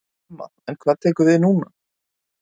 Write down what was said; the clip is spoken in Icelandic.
Telma: En hvað tekur núna við?